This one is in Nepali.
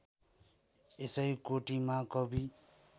यसै कोटिमा कवि